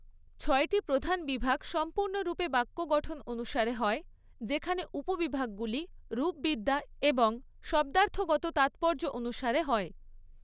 ছয়টি প্রধান বিভাগ সম্পূর্ণরূপে বাক্য গঠন অনুসারে হয়, যেখানে উপবিভাগগুলি রূপবিদ্যা এবং শব্দার্থগত তাৎপর্য অনুসারে হয়।